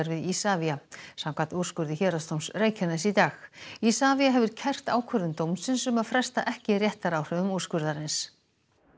við Isavia samkvæmt úrskurði Héraðsdóms Reykjaness í dag Isavia hefur kært ákvörðun dómsins um að fresta ekki réttaráhrifum úrskurðarins